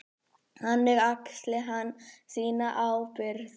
Þannig axli hann sína ábyrgð.